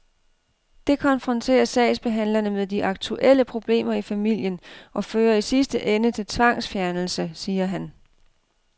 Det konfronterer sagsbehandlerne med de aktuelle problemer i familien og fører i sidste ende til tvangsfjernelse, siger han.